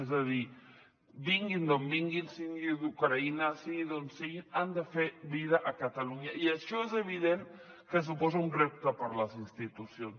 és a dir vinguin d’on vinguin sigui d’ucraïna sigui d’on sigui han de fer vida a catalunya i això és evident que suposa un repte per a les institucions